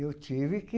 Eu tive que.